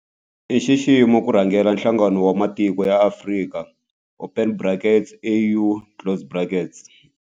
I nxiximo ku rhangela Nhlangano wa Matiko ya Afrika open brackets AU closed brackets.